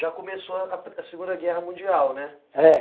Já começou a Segunda Guerra Mundial, né? É